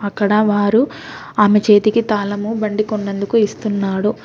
అక్కడ వారు ఆమె చేతికి తాళము బండి కొన్నందుకు ఇస్తున్నాడు.